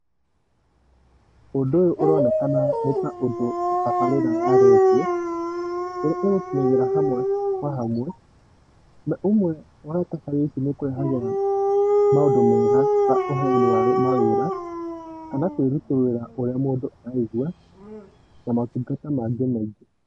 Ũndũ ũyũ ũronekana nĩ ta ũndũ tabarĩra ya redio ĩrĩa ĩgũkinyagĩra hamwe kwa hamwe. Na ũmwe wa tabarĩra icĩ nĩ ĩkũrehagĩra maũndũ mega ta ũheani wa mawĩra kana kwĩrutororira kũria mũndũ araigũa na mũtungata mangĩ maingĩ.